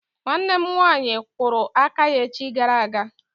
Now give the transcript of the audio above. Nwanne m nwaanyị kwụrụ aka ya echi gara aga.